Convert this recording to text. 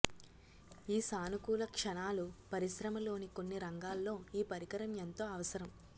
ఈ సానుకూల క్షణాలు పరిశ్రమలోని కొన్ని రంగాల్లో ఈ పరికరం ఎంతో అవసరం